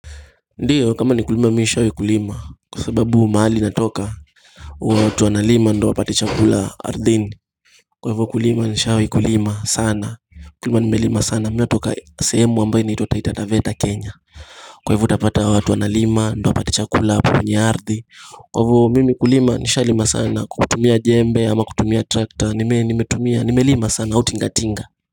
Ndiyo kama ni kulima mimi nishawahi kulima kwa sababu mahali natoka watu wanalima ndio wapate chakula ardhini Kwa hivyo kulima nishawahi kulima sana Kulima nimelima sana mimi natoka sehemu ambayo inaitwa taita taveta kenya Kwa hivyo utapata wa watu wanalima ndo wa pati chakula kwenye ardhi Kwa hivyo mimi kulima nishawahi kulima sana kutumia jembe ama kutumia trakta nimetumia nimelima sana au tingatinga.